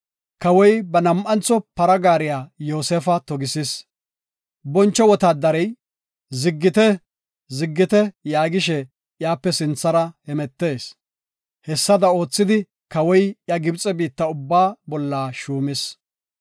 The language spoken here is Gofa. Kawoy ba nam7antho para gaariya Yoosefa togisis. Boncho wotaadarey, “Ziggite! Ziggite!” yaagishe iyape sinthara hemetees. Hessada oothidi, kawoy iya Gibxe biitta ubbaa bolla shuumis.